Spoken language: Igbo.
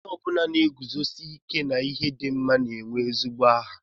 Onye ọ bụla na-eguzosi ike n'ihe dị mma na-enwe ezigbo aha